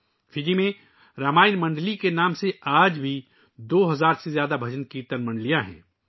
آج بھی فجی میں رامائن منڈلی کے نام سے دو ہزار سے زیادہ بھجن کیرتن منڈلیا ں ہیں